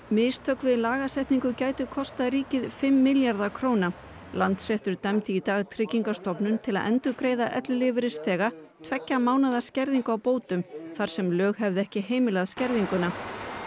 mistök við lagasetningu gætu kostað ríkið fimm milljarða króna Landsréttur dæmdi í dag Tryggingastofnun til að endurgreiða ellilífeyrisþega tveggja mánaða skerðingu á bótum þar sem lög hefðu ekki heimilað skerðinguna